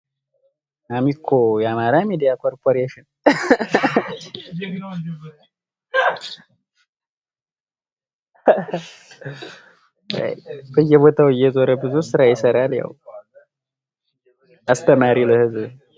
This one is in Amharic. አሚኮ የማራ ሚዲያ ኮበየበታው እየዘረ ብዙ ሥራ የሰራ ልያው አስተማሪ ለህዝብ